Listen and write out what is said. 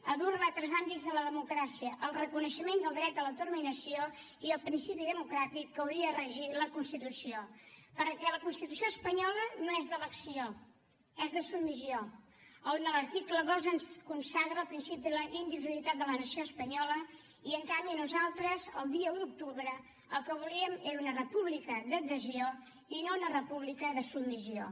a dur la a altres àmbits de la democràcia al reconeixement del dret a l’autodeterminació i el principi democràtic que hauria de regir la constitució perquè la constitució espanyola no és d’elecció és de submissió a on en l’article dos ens consagra el principi d’indissolubilitat de la nació espanyola i en canvi nosaltres el dia un d’octubre el que volíem era una república d’adhesió i no una república de submissió